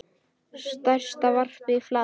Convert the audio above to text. Stærsta varpið er í Flatey.